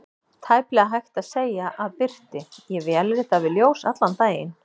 Tæplega hægt að segja að birti: ég vélrita við ljós allan daginn.